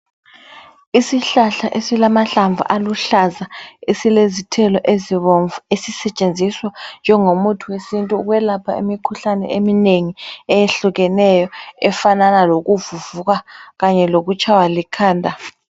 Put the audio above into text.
Isihlahla esilahlamvu aluhlaza. Esilezithelo ezibomvu esisetshenziswa njengomuthi wesintu ukwelapha imikhuhlane eminengi efanana lokuvuvuka kanye lokutshaywa likhanda.